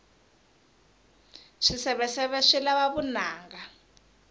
swiseveseve swi lava vunanga